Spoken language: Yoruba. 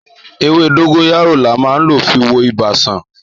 Èwè dongoyara là mà lò fi wo Ìbà san